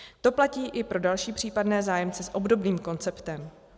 To platí i pro další případné zájemce s obdobným konceptem.